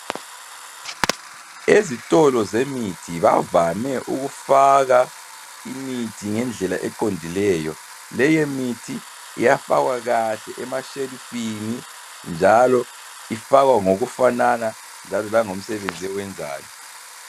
Ezitolo zemithi bavame ukufaka imithi ngendlela eqondileyo. Leyo mithi iyafakwa kahle emashelufini, njalo ifakwa ngokufanana langomsebenzi ewenzayo.